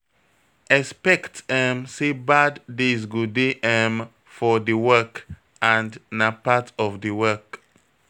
Expect um sey bad days go dey um for di work and na part of di work